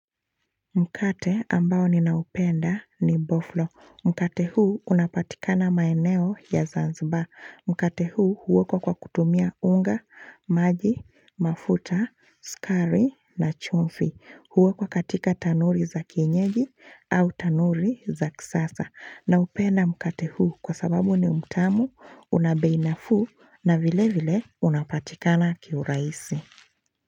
Mkate ambao ninaupenda ni boflo. Mkate huu unapatikana maeneo ya Zanzibar. Mkate huu huokwa kwa kutumia unga, maji, mafuta, sukari na chumvi. Huokwa katika tanuri za kienyeji au tanuri za kisasa. Naupenda mkate huu kwa sababu ni mtamu, una bei nafuu na vile vile unapatikana kiurahisi.